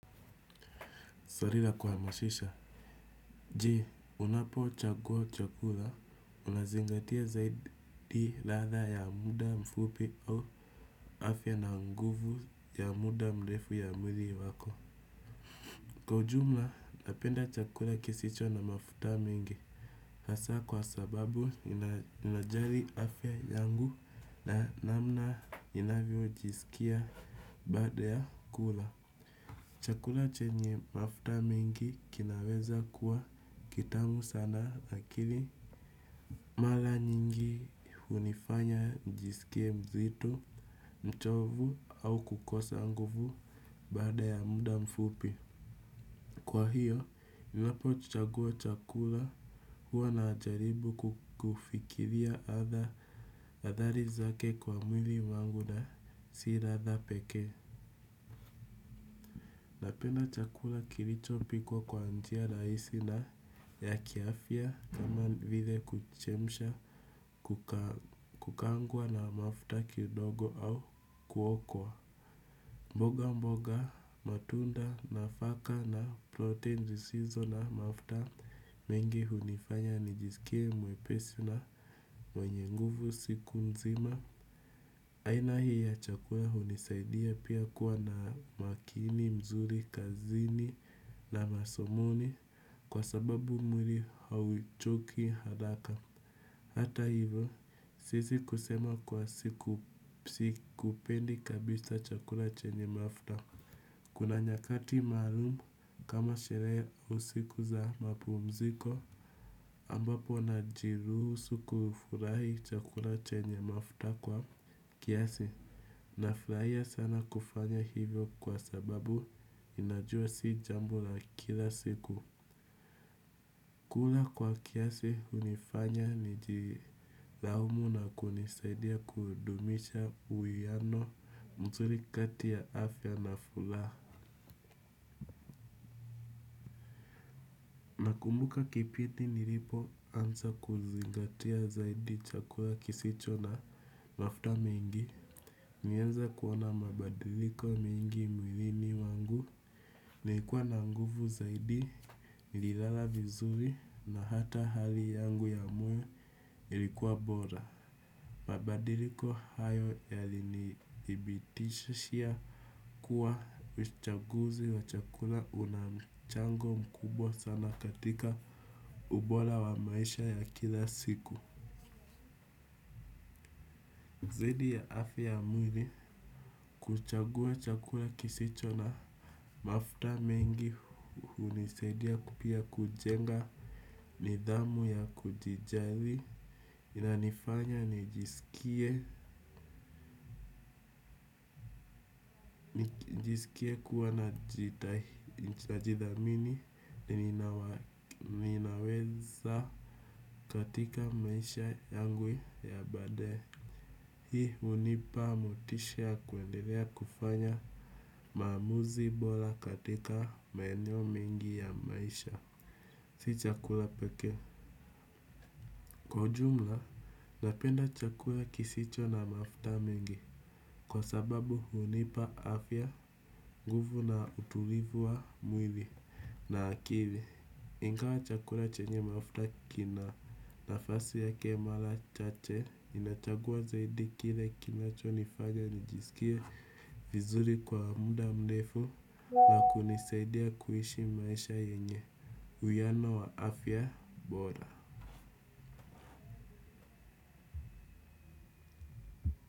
Swali la kuwamashisha. Ji, unapo chakua chakula, unazingatia zaidi latha ya muda mfupi au afya na nguvu ya muda mlefu ya mwili wako. Kwa ujumla, napenda chakula kisicho na mafuta mingi. Hasa kwa sababu, inajari afya yangu na namna inavyo jisikia baada ya kula. Chakula chenye mafta mingi kinaweza kuwa kitamu sana akili. Mala nyingi unifanya njisikie mzitu mchovu au kukosa nguvu bada ya muda mfupi kwa hivo ninapochagua chakula huwa ninajaribu kufikiria athari zake kwa mwili wangu na si ladha pekee napenda chakula kilicho pikwa kwa njia raisi na ya kiafia kama vile kuchemisha kukangwa na mafta kidogo au kuokwa. Mboga mboga matunda na faka na protein zisizo na mafta mengi hunifanya nijisikie mwepesu na mwenye nguvu siku nzima. Aina hii ya chakura hunisaidia pia kuwa na makini, mzuri, kazini na masomoni kwa sababu mwiri hauchoki haraka. Hata hivyo, sisi kusema kwa siku psi kupendi kabisa chakura chenye mafta. Kuna nyakati malumu kama shere usiku za mapu mziko ambapo na jiruhusu kufurahi chakura chenye mafta kwa. Kiasi, nafraia sana kufanya hivyo kwa sababu inajua si jambo la kila siku. Kula kwa kiasi unifanya ni jiraumu na kunisaidia kudumisha uiyano mzuri kati ya afya na fula. Mbuka kipiti nilipo ansa kuzingatia zaidi chakula kisicho na mafuta mingi. Nienza kuona mabadiliko mingi mwilini wangu. Nikuwa na nguvu zaidi lilala vizuri na hata hali yangu ya moyo ilikuwa bora. Mabadiliko hayo yali niibitishia kuwa uschaguzi wa chakula unamchango mkubwa sana katika ubora wa maisha ya kila siku. Zidi ya afi ya mwili kuchagua chakula kisicho na mafta mengi unisedia kupia kujenga nidhamu ya kujijali. Inanifanya nijisikie kuwa na jidhamini ni ninaweza katika maisha yangu ya bade. Hii unipa mutishe ya kwendelea kufanya mamuzi bora katika maenyo mingi ya maisha. Si chakula peke. Kwa jumla, napenda chakula kisicho na mafta mingi. Kwa sababu hunipa afya, nguvu na utulivu wa mwili na akili, ingawa chakura chenye mafuta kina nafasi ya kemalachache inachagua zaidi kile kinacho nifage nijisikia vizuri kwa muda mnefu wa kunisaidia kuishi maisha yenye uyano wa afya bora.